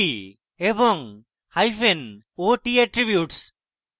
nt hyphen nt এবংot hyphen ot attributes